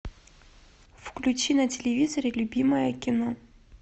включи на телевизоре любимое кино